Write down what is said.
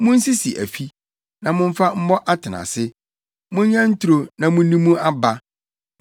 “Munsisi afi, na momfa mmɔ atenase; monyɛ nturo na munni mu aba.